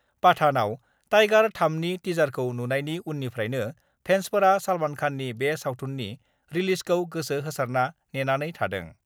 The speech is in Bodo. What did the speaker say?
पाठान' आव टइगार-3 नि टिजारखौ नुनायनि उननिफ्रायनो फेन्सफोरा सलमान खाननि बे सावथुननि रिलिजखौ गोसो होसारना नेनानै थादों।